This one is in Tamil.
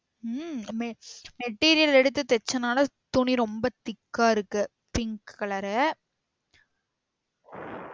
உம் material எடுத்து தெச்சனால துணி ரொம்ப thick ஆ இருக்கு pink colour ரா